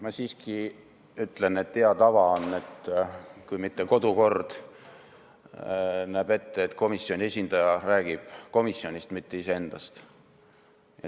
Ma siiski ütlen, et hea tava on, kui mitte kodukord ette ei näe, et komisjoni esindaja räägib komisjonist, mitte iseendast.